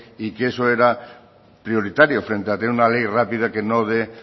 y que eso era prioritario frente a tener una ley rápida que no dé